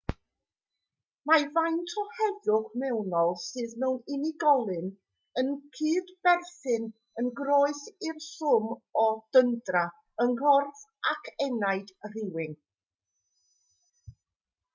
mae faint o heddwch mewnol sydd gan unigolyn yn cydberthyn yn groes i'r swm o dyndra yng nghorff ac enaid rhywun